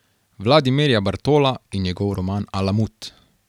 Vladimirja Bartola in njegov roman Alamut.